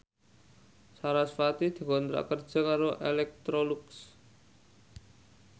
sarasvati dikontrak kerja karo Electrolux